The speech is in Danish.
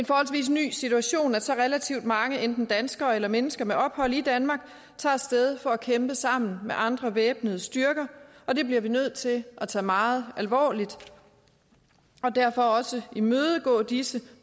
forholdsvis ny situation at så relativt mange danskere eller mennesker med ophold i danmark tager af sted for at kæmpe sammen med andre væbnede styrker og det bliver vi nødt til at tage meget alvorligt og derfor også imødegå disse